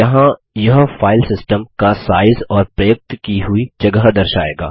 यहाँ यह फाइलसिस्टम का साइज़ और प्रयुक्त की हुई जगह दर्शाएगा